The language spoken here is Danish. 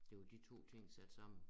Det jo de 2 ting sat sammen